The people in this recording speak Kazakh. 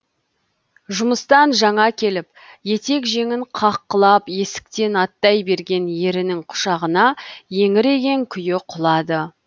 жұмыстан жаңа келіп етек жеңін қаққылап есіктен аттай берген ерінің құшағына еңіреген күйі құлады